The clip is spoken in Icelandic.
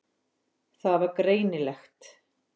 Það var greinilegt.